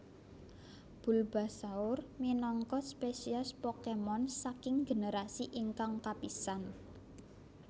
Bulbasaur minangka spesies Pokémon saking generasi ingkang kapisan